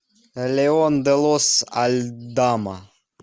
леон де лос альдама